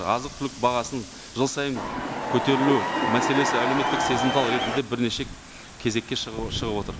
азық түлік бағасының жыл сайын көтерілу мәселесі әлеуметтік сезімтал ретінде бірнеше кезекке шығып отыр